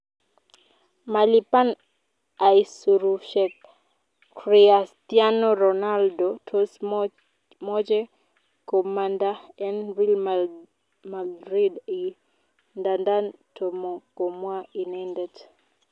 malipan aisurushek Chriatiano ronaldo tos moche komanda en real madrid i? Ndandan tomo komwa inendet.